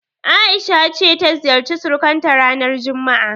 A'isha ta ce ta ziyarci surukanta ranar juma'a.